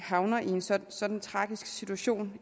havner i en sådan sådan tragisk situation